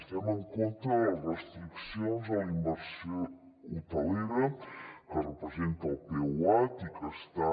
estem en contra de les restriccions a la inversió hotelera que representa el peuat i que està